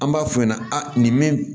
An b'a f'u ɲɛna aa nin min